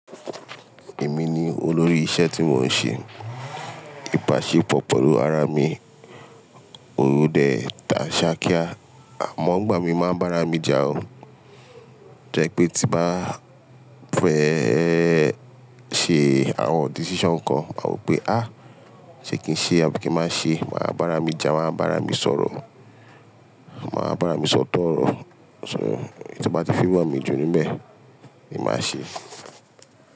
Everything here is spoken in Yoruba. Èmi ni olórí iṣẹ́ tí mò ń ṣe. Íbaṣepọ̀ pẹ̀lú ara mi, òru dẹ̀, ta ṣákíá, àmọ́ ọgbà mi máa ń bára mi jà o. Jẹ́ pé tí bá fẹ́ ṣe àwọn decision kan, máa wò pé "áà, ṣe kí n ṣe áà, kí má ṣe?" Máa bára mi jà, máa bára mi sọ̀rọ̀, máa bára mi sọ̀tọ̀ ọ̀rọ̀. So tí bá ti fi wọ̀n mi jù níbẹ̀, èmi máa ṣe é.